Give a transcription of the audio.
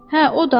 Hə, o da.